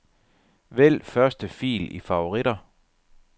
Vælg første fil i favoritter.